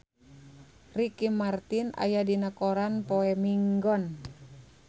Ricky Martin aya dina koran poe Minggon